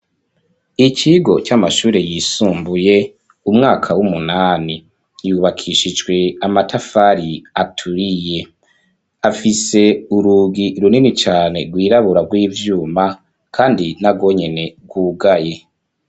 ikigo c'amashure yisumbuye, umwaka w'umunani. Ryubakishijwe amatafari aturiye. Afise urugi runini cane rwirabura rw'ivyuma kandi narwo nyene rwugaye.